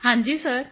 ਹਾਂਜੀ ਸਿਰ